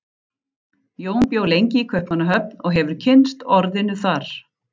Jón bjó lengi í Kaupmannahöfn og hefur kynnst orðinu þar.